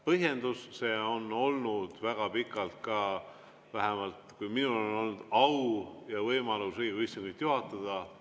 Põhjendus: see tava on olnud väga pikalt, vähemalt siis, kui minul on olnud au ja võimalus Riigikogu istungit juhatada.